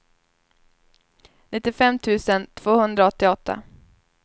nittiofem tusen tvåhundraåttioåtta